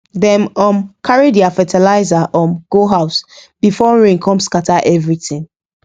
dem um carry their fertilizer um go house before rain come scatter everything